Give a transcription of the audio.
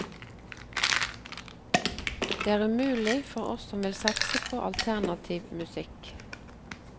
Det er umulig for oss som vil satse på alternativ musikk.